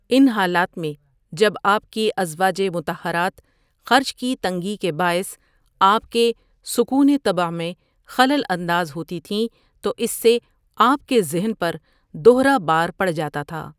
ان حالات میں جب آپ کی ازواجِ مطہرات خرچ کی تنگی کے باعث آپ کے سکونِ طبع میں خلل انداز ہوتی تھیں تو اس سے آپ کے ذہن پر دہرا بار پڑ جاتا تھا۔